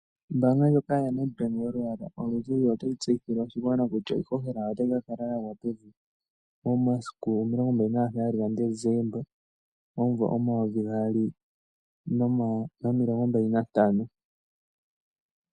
Ombaanga ndjoka yaNedbank yolwaala oluzizi otayi tseyithile oshigwana kutya iishoshela otayi kakala yagwa pevi momasiku 27 Decemba 2025.